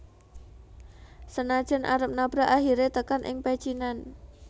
Sanajan arep nabrak akhire tekan ing pecinan